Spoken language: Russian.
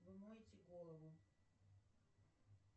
вы моете голову